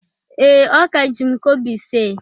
Ee, o ka ji m kobo ise